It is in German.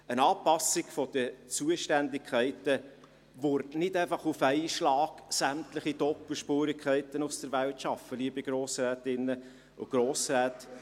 Eine Anpassung der Zuständigkeiten würde nicht einfach auf einen Schlag sämtliche Doppelspurigkeiten aus der Welt schaffen, liebe Grossrätinnen und Grossräte.